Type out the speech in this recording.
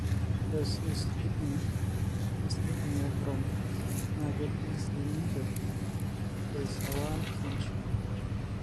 ore Cysts kidneys (cystic nephrom naa ketii sii ninche DICER1 syndrome.